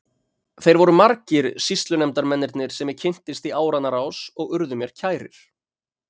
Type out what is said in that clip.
Þeir voru margir sýslunefndarmennirnir sem ég kynntist í áranna rás og urðu mér kærir.